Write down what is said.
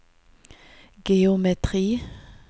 geometri